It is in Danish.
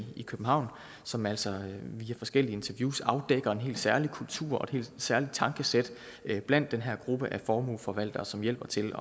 i københavn som altså via forskellige interviews afdækker en helt særlig kultur og et helt særligt tankesæt blandt den her gruppe af formueforvaltere som hjælper til